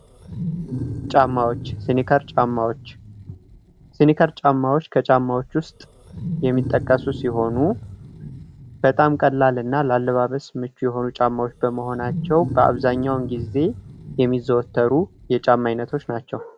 ጫማዎች ሲኒከር ጫማዎች ፡-ሲኒከር ጫማዎች ተጫማዎች ውስጥ የሚጠቀሱ ሲሆኑ በጣም ቀላል እና ላለባበስ ምቹ የሆኑ ጫማዎች በመሆናቸው በአብዛኛው ጊዜ የሚዘወትሩ የጫማ ዓይነቶች ናቸው።